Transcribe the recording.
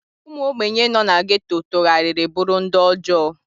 Ụmụ ogbenye nọ na Geto tụgharịrị bụrụ ndị ọjọọ.